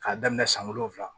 K'a daminɛ san wolonwula